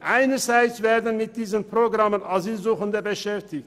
Einerseits werden mit diesen Programmen Asylsuchende beschäftigt.